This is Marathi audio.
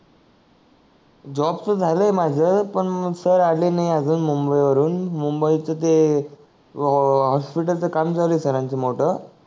जॉब च झाल आहे पण सर आले नाही अजून मुंबई वरुण मुंबई च ते हॉस्पिटल च काम झाल आहे सर मोठ